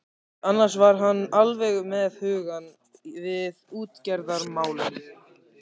Annars var hann alveg með hugann við útgerðarmálin.